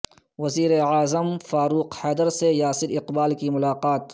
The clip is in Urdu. وزیر اعظم فاروق حیدر سے یاسر اقبال کی ملاقات